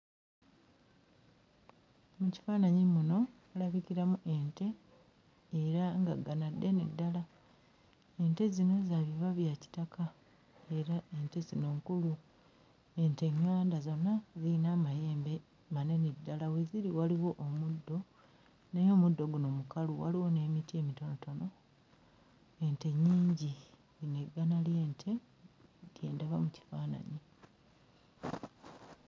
Mu kifaananyi muno mulabikiramu ente era nga ggana ddene ddala ente zino za biba bya kitaka era ente zino nkulu ente ᵑᵑanda zonna ziyina amayembe manene ddala we ziri waliwo omuddo naye omuddo guno mukalu waliwo n'emiti emitonotono ente nnyingi lino eggana ly'ente lye ndaba mu kifaananyi.